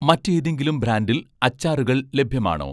മറ്റേതെങ്കിലും ബ്രാൻഡിൽ അച്ചാറുകൾ ലഭ്യമാണോ